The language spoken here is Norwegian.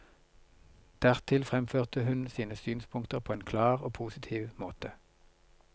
Dertil fremførte hun sine synspunkter på en klar og positiv måte.